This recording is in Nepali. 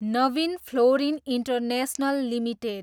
Naveen fluorine international limited